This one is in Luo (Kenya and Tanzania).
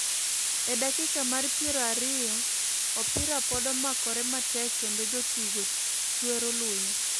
En dakika mar piero ariyo ,opira pod omakore matek kendo jotugo chwero luya.